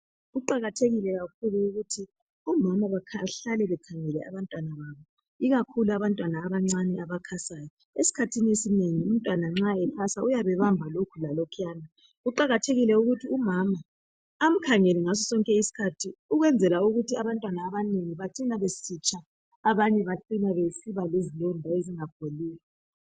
Kuqakathekile kakhulu ukuthi omama bahlale bekhangele abantwana babo ikakhulu abantwana abancane abakhasayo, esikhathini esinengi umntwana nxa ekhasa uyabe ebamba lokho lalokhuyana kuwakathekile ukuthi umama umkhangele ngaso sonke isikhathi ukwenzela ukuthi engatshi kumbe engabi lesilonda esingapholiyo.